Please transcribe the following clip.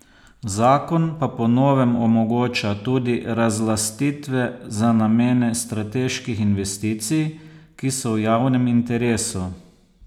Zakon pa po novem omogoča tudi razlastitve za namene strateških investicij, ki so v javnem interesu.